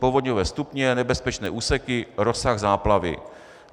Povodňové stupně, nebezpečné úseky, rozsah záplavy.